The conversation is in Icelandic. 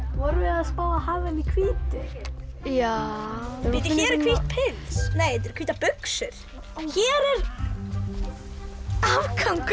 vorum við að spá að hafa hann í hvítu já hér er hvítt pils nei þetta eru hvítar buxur hér er afgangurinn